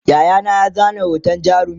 Yayana ya zana hoton jarumin